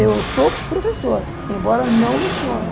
Eu sou professor, embora não leciono.